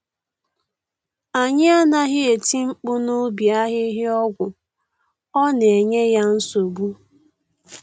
Anyị anaghị eti mkpu n’ubi ahịhịa ọgwụ, ọ na enye ya nsogbu.